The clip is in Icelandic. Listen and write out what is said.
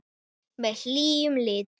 Með hlýjum litum.